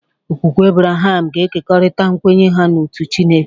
Okwukwe Abraham ga-ekerịta nkwenye ha n'otu Chineke.